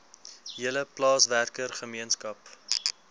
hele plaaswerker gemeenskap